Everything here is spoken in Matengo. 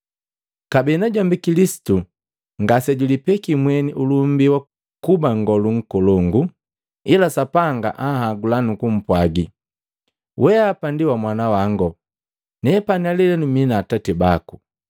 Kabee najombi Kilisitu ngase julipeki mweni ulumbi wa kuba nngolu nkolongu, ila Sapanga anhagula nukumpwagi: “Weapa ndi wamwanawango; nepani lelenu mii atati bako.”